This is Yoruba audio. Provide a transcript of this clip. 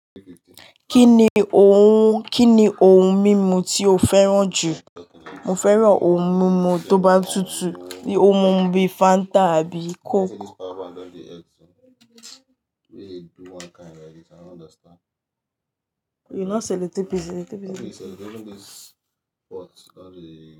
Kí ni ohun, kíni ohun mímu tí o fẹ́ràn jù? Mo fẹ́ràn ohun mímu tó bá tutù, ohun mímu bíi Fanta àbí Coke.